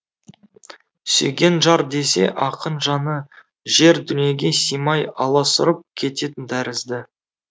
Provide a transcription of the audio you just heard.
сүйген жар десе ақын жаны жер дүниеге сыймай аласұрып кететін тәрізді